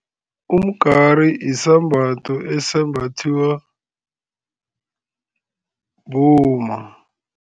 Umgari yisambatho esembathiwa bomma.